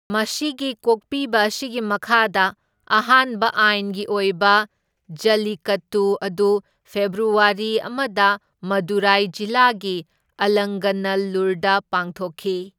ꯃꯁꯤꯒꯤ ꯀꯣꯛꯄꯤꯕ ꯑꯁꯤꯒꯤ ꯃꯈꯥꯗ ꯑꯍꯥꯟꯕ ꯑꯥꯏꯟꯒꯤ ꯑꯣꯏꯕ ꯖꯜꯂꯤꯀꯠꯇꯨ ꯑꯗꯨ ꯐꯦꯕ꯭ꯔꯨꯋꯥꯔꯤ ꯑꯃꯗ ꯃꯗꯨꯔꯥꯏ ꯖꯤꯂꯥꯒꯤ ꯑꯂꯪꯒꯥꯅꯜꯂꯨꯔꯗ ꯄꯥꯡꯊꯣꯛꯈꯤ꯫